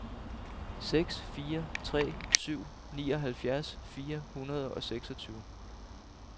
seks fire tre syv nioghalvfjerds fire hundrede og seksogtyve